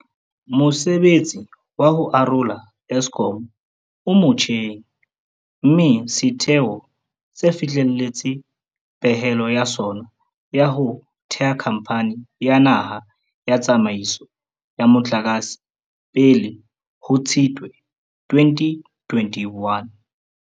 Mosebetsi wa ho arola Eskom o motjheng, mme setheo se fihlelletse pehelo ya sona ya ho theha Khamphani ya Naha ya Tsa maiso ya Motlakase pele ho Tshitwe 2021.